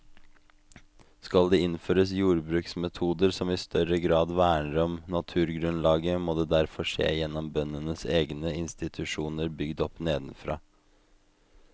Skal det innføres jordbruksmetoder som i større grad verner om naturgrunnlaget, må det derfor skje gjennom bøndenes egne institusjoner bygd opp nedenfra.